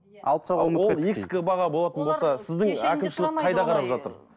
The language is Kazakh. баға болатын болса сіздің әкімшілік қайда қарап жатыр